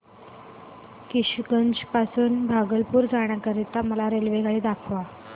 किशनगंज वरून भागलपुर जाण्या करीता मला रेल्वेगाडी दाखवा